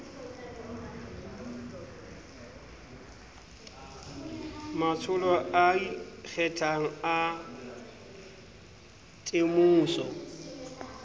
matsholo a ikgethang a temoso